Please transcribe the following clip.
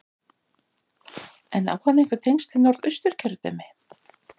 En á hann einhver tengsl við Norðausturkjördæmi?